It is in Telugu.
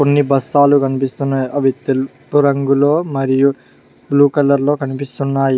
కొన్ని బస్తాలు కనిపిస్తున్నాయి అవి తెలుపు రంగులో మరియు బ్లూ కలర్ లో కనిపిస్తున్నాయి.